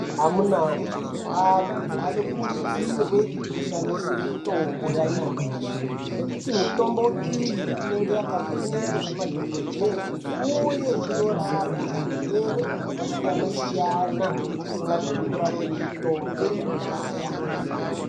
Amunawee antu anokurudzirwe kushandise mitombo yanyamashi nekuti mitombo iyi inenge yakavhenekwa nemadhogodheye uye inorape zvirwere zvakasiyana-siyana zvisingagoni kurapwe nemutombo yakudhaya.